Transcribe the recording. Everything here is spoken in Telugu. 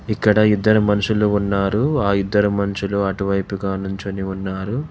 ఇక్కడ ఇద్దరు మనుషులు ఉన్నారు ఆ ఇద్దరు మనుషులు అటువైపుగా నుంచొని ఉన్నారు.